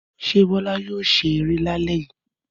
Ṣé Bọ́lá yóò ṣe eré lálẹ́ yìí?